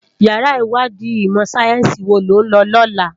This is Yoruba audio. Iyàrá iwàdí imò sáyènsí wó ló n lò lòlá